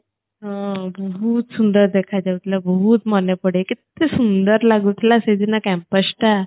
ହଁ ବହୁତ ସୁନ୍ଦର ଦେଖା ଯାଉଥିଲା ବହୁତ ମନେ ପଡ଼େ କେତେ ସୁନ୍ଦର ଲାଗୁ ଥିଲା ସେ ଦିନ campus ଟା